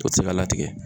O tɛ se ka latigɛ